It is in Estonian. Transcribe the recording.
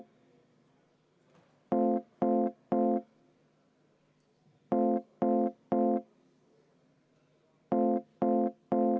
Rene Kokk, palun!